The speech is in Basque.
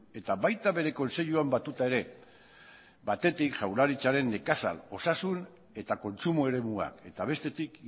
eta baita bere kontseiluan batuta ere batetik jaurlaritzaren nekazal osasun eta kontsumo eremuak eta bestetik